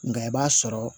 Nka i b'a sɔrɔ